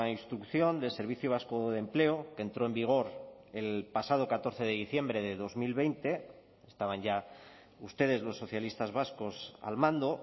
instrucción del servicio vasco de empleo que entró en vigor el pasado catorce de diciembre de dos mil veinte estaban ya ustedes los socialistas vascos al mando